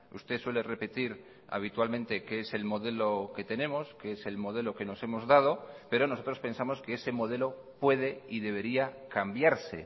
usted suele repetir habitualmente que es el modelo que tenemos que es el modelo que nos hemos dado pero nosotros pensamos que ese modelo puede y debería cambiarse